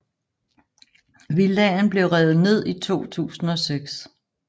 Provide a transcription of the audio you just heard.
Villaen blev revet ned i 2006